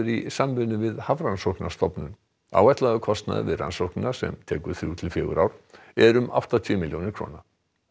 í samvinnu við Hafrannsóknastofnun áætlaður kostnaður við rannsóknina sem tekur þrjú til fjögur ár er um áttatíu milljónir króna